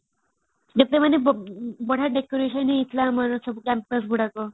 ଯେତେବେଳେ ମାନେ ବଢିଆ decoration ହେଇଥିଲା ଆମର ସବୁ campus ଗୁଡାକ